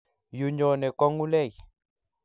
Yu nyonee ko ngulei.